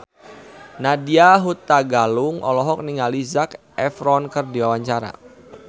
Nadya Hutagalung olohok ningali Zac Efron keur diwawancara